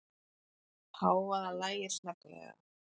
Hávaðann lægir snögglega.